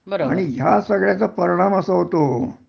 आणि ह्या सगळ्याचा परिणाम असा होतो